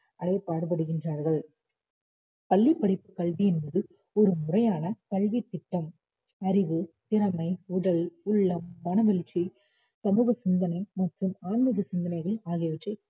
அடையப் பாடுபடுகின்றார்கள் பள்ளிப்படிப்புக் கல்வி என்பது ஒரு முறையான கல்வித்திட்டம் அறிவு, திறமை, உடல், உள்ளம், மனவெழுச்சி, சமூக சிந்தனை மற்றும் ஆன்மிகச் சிந்தனைகள் ஆகியவற்றை